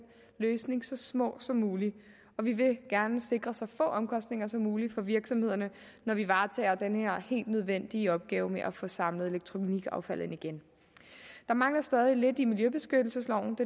løsning så små som muligt og vi vil gerne sikre så få omkostninger som muligt for virksomhederne når vi varetager den her helt nødvendige opgave med at få samlet elektronikaffaldet ind igen der mangler stadig lidt i miljøbeskyttelsesloven